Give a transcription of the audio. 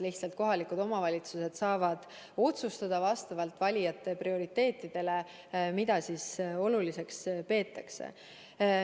Lihtsalt kohalikud omavalitsused saavad otsustada vastavalt valijate prioriteetidele, mida oluliseks peetakse.